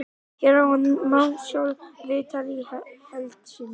Hér að neðan má sjá viðtalið í heild sinni.